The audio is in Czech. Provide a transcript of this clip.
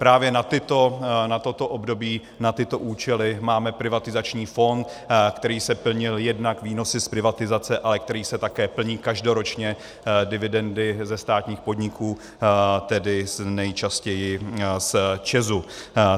Právě na toto období, na tyto účely máme privatizační fond, který se plnil jednak výnosy z privatizace, ale který se také plní každoročně dividendami ze státních podniků, tedy nejčastěji z ČEZu.